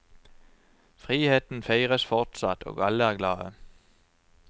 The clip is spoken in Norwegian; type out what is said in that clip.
Friheten feires fortsatt, og alle er glade.